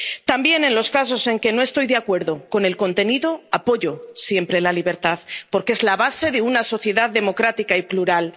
También en los casos en que no estoy de acuerdo con el contenido, apoyo siempre la libertad, porque es la base de una sociedad democrática y plural.